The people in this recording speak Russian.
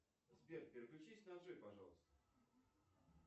сбер переключись на джой пожалуйста